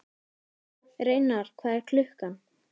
Reynar, hvað er klukkan?